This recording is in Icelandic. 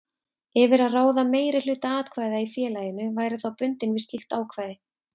yfir að ráða meirihluta atkvæða í félaginu væri þá bundinn við slíkt ákvæði.